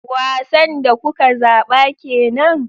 Wasan da kuka zaba kenan?